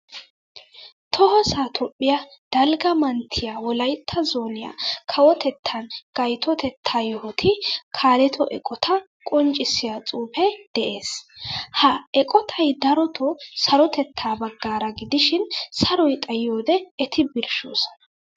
Tohossa toophphiyaa dalgga manttiyaa wolaytta zooniyaa kawotettan gayttotetta yohotu kaaletto eqqotta qonccisiyaa xuufe de'ees. Ha eqqottay daroto sarotetta baggaara gidishin saroy xayiyode eti birshoosna.